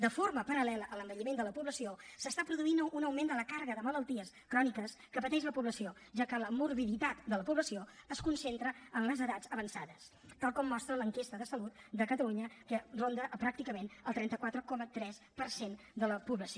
de forma paral·lela a l’envelliment de la població s’està produint un augment de la càrrega de malalties cròniques que pateix la població ja que la morbiditat de la població es concentra en les edats avançades tal com mostra l’enquesta de salut de catalunya que ronda pràcticament el trenta quatre coma tres per cent de la població